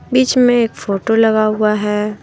बीच में एक फोटो लगा हुआ है।